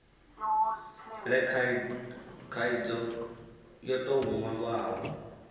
le khaidzo yo tou nwalwaho